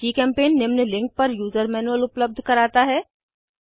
जीचेम्पेंट निम्न लिंक पर user manual उपलब्ध कराता है